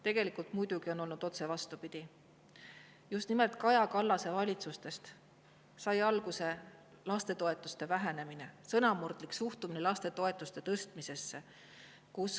Tegelikult on muidugi olnud otse vastupidi: just nimelt Kaja Kallase valitsustest sai alguse lastetoetuste vähendamine ja sõnamurdlik suhtumine lastetoetuste tõstmisesse.